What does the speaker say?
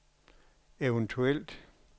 eventuelt